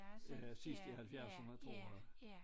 Øh sidst i halvfjerdserne tror jeg